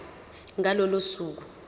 ngalo lolo suku